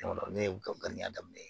n'u ye u ka danniya daminɛ